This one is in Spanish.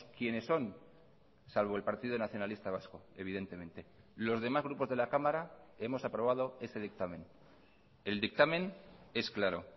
quienes son salvo el partido nacionalista vasco evidentemente los demás grupos de la cámara hemos aprobado ese dictamen el dictamen es claro